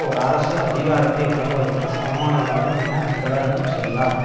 ஒரு அரசு அதிகாரத்தை வழங்குவதற்கு சமமானதாகும் என பிரகடனம் செய்தார்